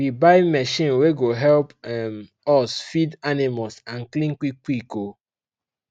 we buy machine wey go help um us feed animals and clean quick quick um